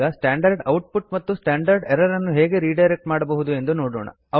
ಈಗ standard output ಮತ್ತು standard error ಅನ್ನು ಹೇಗೆ ರಿಡೈರೆಕ್ಟ್ ಮಾಡಬಹುದು ಎಂದು ನೋಡೋಣ